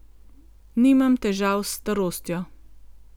Nimam težav s starostjo.